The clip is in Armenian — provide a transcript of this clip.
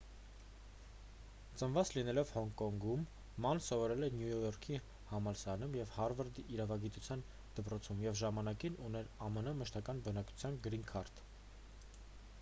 ծնված լինելով հոնկոնգում ման սովորել է նյու յորքի համալսարանում և հարվարդի իրավագիտության դպրոցում և ժամանակին ուներ ամն մշտական բնակության գրին քարտ